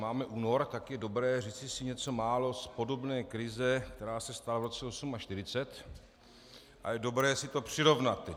Máme únor, tak je dobré říci si něco málo z podobné krize, která se stala v roce 1948, a je dobré si to přirovnat.